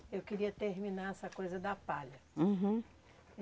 Eu queria terminar essa coisa da palha. Uhum.